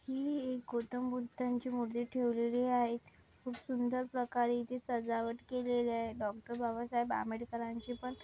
ही एक गौतमबुद्धांची मूर्ति ठेवलेली आहे खूप सुंदर प्रकारे सजावट केलेले आहे डॉ. बाबासाहेब आंबेडकरांची पण --